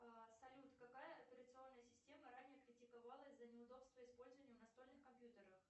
салют какая операционная система ранее критиковалась за неудобство использования в настольных компьютерах